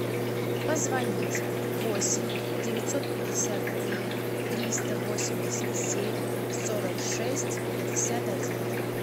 позвонить восемь девятьсот пятьдесят три триста восемьдесят семь сорок шесть пятьдесят один